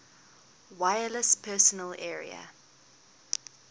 wireless personal area